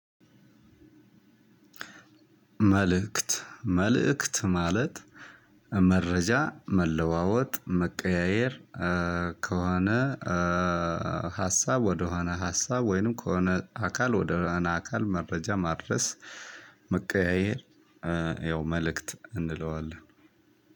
መልእክት መልእክት ማለት መረጃ መለዋወጥ መቀያየር ከሆነ ሀሳብ ወደሆነ ሀሳብ ወይንም ከሆነ አካል ወደሆነ አካል መረጃ ማድረስ መቀያየል። ያው መልእክት እንለዋለን።